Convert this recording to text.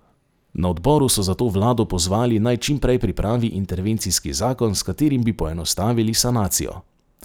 Na odboru so zato vlado pozvali naj čim prej pripravi intervencijski zakon, s katerim bi poenostavili sanacijo.